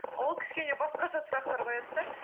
ол кішкене басқаша сұрақтар қояды да